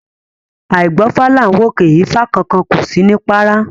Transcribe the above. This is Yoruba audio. Àìgbọ́fá làá wòkè ifá kan kan kò sí ní párá